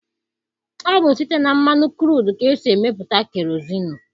Ọ bụ site na mmanụ kruudu ka esi emepụta kerozinụ.